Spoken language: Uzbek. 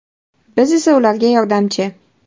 Biz esa ularga yordamchi.